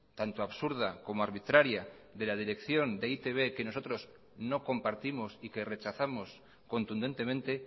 tanto absurda como arbitraria de la dirección de e i te be que nosotros no compartimos y que rechazamos contundentemente